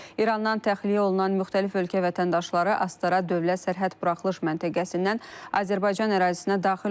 İrandan təxliyə olunan müxtəlif ölkə vətəndaşları Astara dövlət sərhəd buraxılış məntəqəsindən Azərbaycan ərazisinə daxil olurlar.